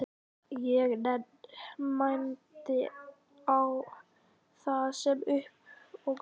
Ég mændi á það eins og upphafinn.